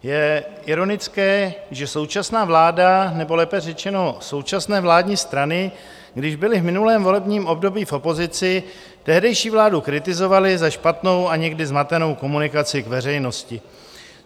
Je ironické, že současná vláda, nebo lépe řečeno současné vládní strany, když byly v minulém volebním období v opozici, tehdejší vládu kritizovaly za špatnou a někdy zmatenou komunikaci k veřejnosti.